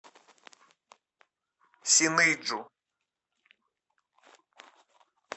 синыйджу